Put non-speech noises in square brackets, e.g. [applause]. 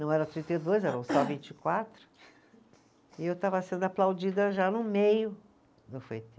Não era trinta e dois, eram só vinte e quatro, e eu estava sendo aplaudida já no meio do. [unintelligible]